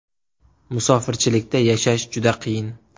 Musofirchilikda yashash juda qiyin.